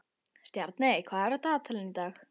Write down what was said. Stjarney, hvað er á dagatalinu í dag?